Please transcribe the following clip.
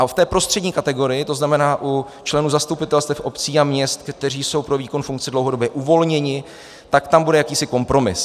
A v té prostřední kategorii, to znamená u členů zastupitelstev obcí a měst, kteří jsou pro výkon funkce dlouhodobě uvolněni, tak tam bude jakýsi kompromis.